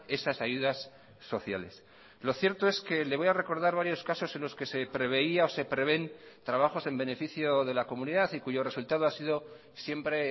esas ayudas sociales lo cierto es que le voy a recordar varios casos en los que se preveía o se prevén trabajos en beneficio de la comunidad y cuyo resultado ha sido siempre